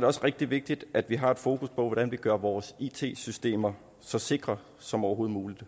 det også rigtig vigtigt at vi har fokus på hvordan vi gør vores it systemer så sikre som overhovedet muligt